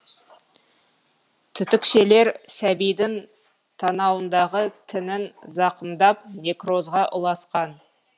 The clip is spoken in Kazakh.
түтікшелер сәбидің танауындағы тінін зақымдап некрозға ұласқан